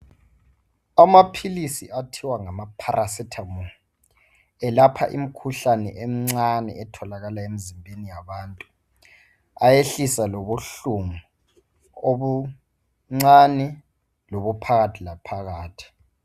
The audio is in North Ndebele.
Amaphilisi athiwa ngamaphalasethamo alapha imikhuhlane emncane etholakala emzimbeni yabantu, ayehlisa lobuhlungu obuncane lobuphakathi laphakathi .